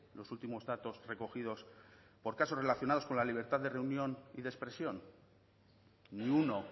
los últimos datos recogidos por casos relacionados con la libertad de reunión y de expresión ni uno